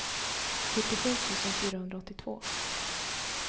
fyrtiosju tusen fyrahundraåttiotvå